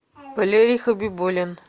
валерий хабибулин